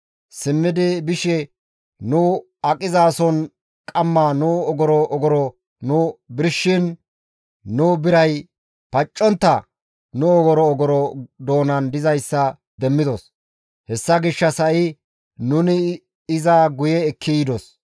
simmidi bishe nu aqizaason omars nu ogoro ogoro nu birshiin nu biray paccontta nu ogoro ogoro doonan dizayssa demmidos; hessa gishshas ha7i nuni iza guye ekki yidos.